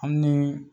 Hali ni